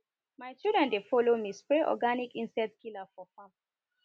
my children dey follow me spray organic insect killer for farm